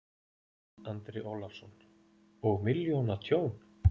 Andri Ólafsson: Og milljóna tjón?